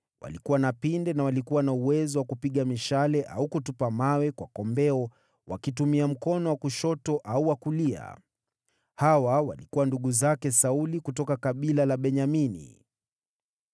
walikuwa na pinde na walikuwa na uwezo wa kupiga mishale au kutupa mawe kwa kombeo wakitumia mkono wa kushoto au wa kulia; hawa walikuwa ndugu zake Sauli kutoka kabila la Benyamini):